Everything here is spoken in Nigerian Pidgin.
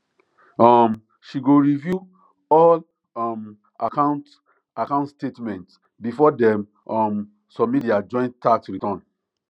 um she go review all um account account statements before dem um submit their joint tax return